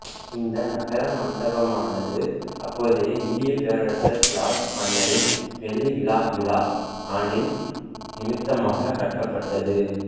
இந்த நகர மண்டபமானது அப்போதைய இந்தியப் பேரரசர் ஜார்ஜ் மன்னரின் வெள்ளி விழாவிழா ஆண்டின் நிமித்தமாக கட்டப்பட்டது